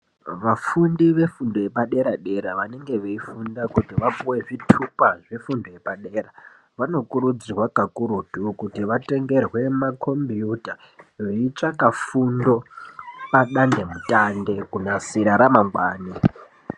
Vafundi vefundo yepadera dera, vanonge veifunda kuti vapuwe zvitupa zvefundo yepadera, vano kurudzirwa kakurutu, kuti vatengerwe makhombiyuta veitsvaka fundo padandemutande kunasira ramangwani.